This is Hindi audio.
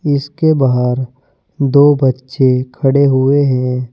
इसके बाहर दो बच्चे खड़े हुए हैं।